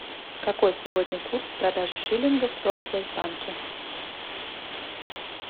какой сегодня курс продажи шиллингов в промсвязьбанке